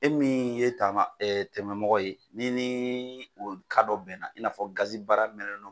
E min ye taama e tɛmɛmɔgɔ ye n'i ni o dɔ bɛnna i n'a fɔ gazi baara mɛnɛn'o